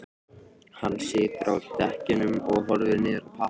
Hann situr á dekkjunum og horfir niður í pappakassann.